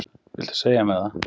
Viltu segja mér það?